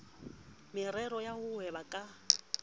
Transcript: meraro ya ho hweba ka